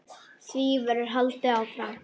Því verði haldið áfram.